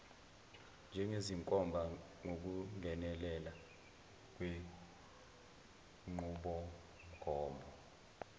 njengezinkomba ngokungenelela kwenqubomgomo